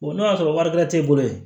n'o y'a sɔrɔ wari bɛrɛ t'e bolo yen